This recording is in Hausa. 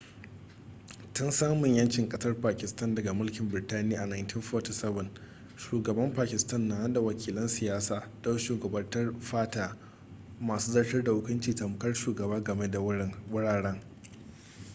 tun samun yancin kasar pakistan daga mulkin birtaniya a 1947 shugaban pakistan na nada wakilan siyasa don shugabantar fata masu zartar da hukunci tamkar shugaba game da wuraren